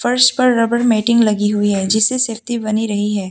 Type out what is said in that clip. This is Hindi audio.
फर्श पर रबड़ मेटिंग लगी हुई है जिससे सेफ्टी रही है।